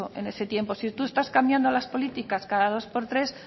en ese tiempo si tú estás cambiando las políticas cada dos por tres